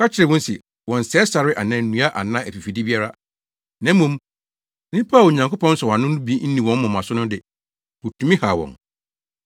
Wɔka kyerɛɛ wɔn se wɔnnsɛe sare anaa nnua anaa afifide biara. Na mmom, nnipa a Onyankopɔn nsɔwano no bi nni wɔn moma so no de, wotumi haw wɔn.